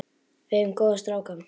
Við eigum góða stráka.